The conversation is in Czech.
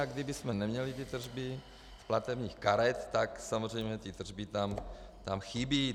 A kdybychom neměli ty tržby z platebních karet, tak samozřejmě ty tržby tam chybí.